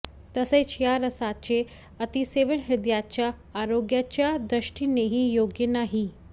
तसेच या रसाचे अतिसेवन हृदयाच्या आरोग्याच्या दृष्टीनेही योग्य नाही